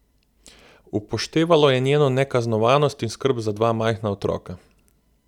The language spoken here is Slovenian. Upoštevalo je njeno nekaznovanost in skrb za dva majhna otroka.